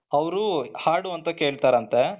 ಅವರು ಹಾಡು ಅಂತ ಕೇಳ್ತಾರಂತೆ,